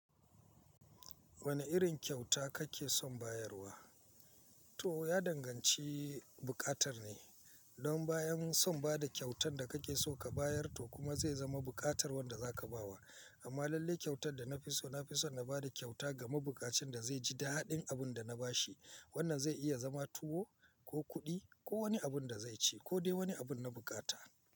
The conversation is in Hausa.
Wane irin kyauta kake son bayarwa? Tuwo ya danganci buƙatar ne. Don bayan son ba da kyautan da kake so ka bayar to kuma zai zama buƙatar wanda za ka bawa. Amma lalle kyautan da na fi so, na fi son na ba da kyauta game buƙacen da zai ji da daɗin abin da na bashi. Wannan zai iya zama tuwo ko kuɗi ko wani abun da zai ci ko dai wani abun na buƙata.